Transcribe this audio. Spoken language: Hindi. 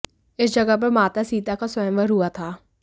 इस जगह पर माता सीता का स्वयंवर हुआ था